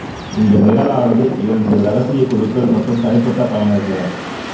இந்த நிரலானது இரண்டு இரகசியக் குழுக்கள் மற்றும் தனிப்பட்ட பயனர்க